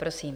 Prosím.